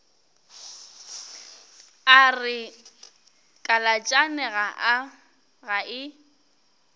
a re kalatšane ga e